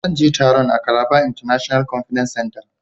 zan je taron a Calabar International conference center.